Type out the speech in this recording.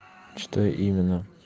что именно